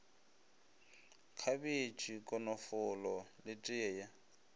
khabetšhe konofolo le teye ye